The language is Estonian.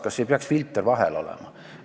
Kas ei peaks filter vahel olema?